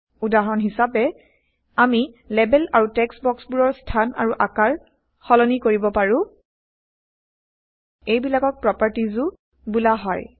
উদাহৰন হিচাবে আমি লেবেল আৰু টেক্সট বক্সবোৰৰ স্হান আৰু আকাৰ সলনি কৰিব পাৰো160 এইবিলাকক প্ৰপাৰ্টিজও বোলা হয়